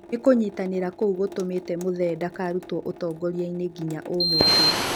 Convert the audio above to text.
Nĩ kunyitanĩra kũu gutumĩte Muthee ndakarutwo ũtongoriainĩ nginya ũmũthi.